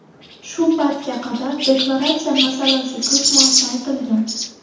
Shu paytga qadar deklaratsiya masalasi ko‘p marta aytilgan.